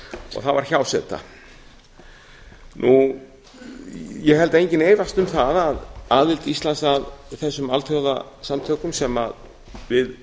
og það var hjáseta ég held að enginn efist um það að aðild íslands að þessum alþjóðasamtökum sem við